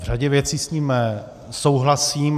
V řadě věcí s ním souhlasím.